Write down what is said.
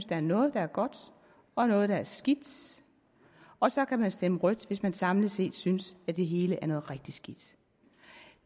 der er noget der er godt og noget der er skidt og så kan man stemme rødt hvis man samlet set synes at det hele er noget rigtig skidt